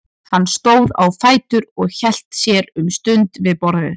Hann stóð á fætur og hélt sér um stund við borðið.